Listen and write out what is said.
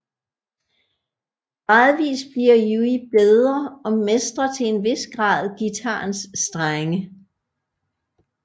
Gradvist bliver Yui bedre og mestrer til en hvis grad guitarens strenge